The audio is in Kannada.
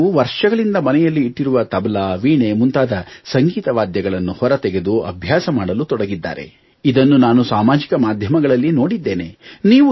ಕೆಲವರು ವರ್ಷಗಳಿಂದ ಮನೆಯಲ್ಲಿ ಇಟ್ಟಿರುವ ತಬಲಾ ವೀಣೆ ಮುಂತಾದ ಸಂಗೀತ ವಾದ್ಯಗಳನ್ನು ಹೊರತೆಗೆದು ಅಭ್ಯಾಸ ಮಾಡಲು ತೊಡಗಿದ್ದಾರೆ ಇದನ್ನು ನಾನು ಸಾಮಾಜಿಕ ಮಾಧ್ಯಮಗಳಲ್ಲಿ ನೋಡಿದ್ದೇನೆ